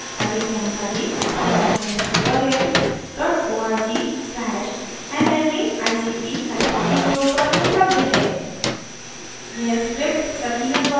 अधिक जानकारी spoken hyphen tutorial dot org slash nmeict hyphen intro पर उपलब्ध है